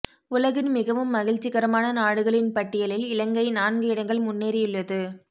உலகின் மிகவும் மகிழ்ச்சிகரமான நாடுகளின் பட்டியலில் இலங்கை நான்கு இடங்கள் முன்னேறியுள்ளது